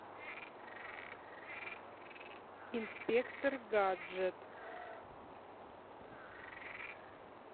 инспектор гаджет